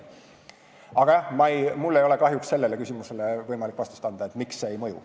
Aga jah, mul ei ole kahjuks võimalik vastust anda sellele küsimusele, miks see ei mõju.